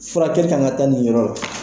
Furakɛli ka kan ka taa nin yɔrɔ la